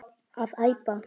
að eipa